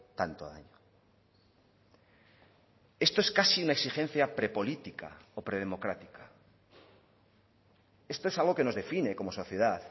tanto daño esto es casi una exigencia prepolítica o predemocrática esto es algo que nos define como sociedad